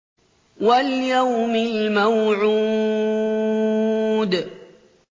وَالْيَوْمِ الْمَوْعُودِ